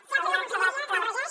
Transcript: què ha fet la conselleria que el regeix